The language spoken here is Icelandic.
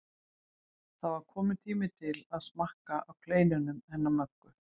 Það var kominn tími til að smakka á kleinunum hennar Möggu.